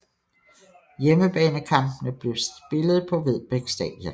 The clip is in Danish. Hjemmebanekampene blev spillet på Vedbæk Stadion